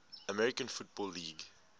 american football league